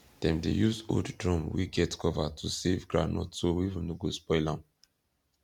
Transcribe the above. dem dey use old drum wey get cover to save groundnut so weevil no go spoil am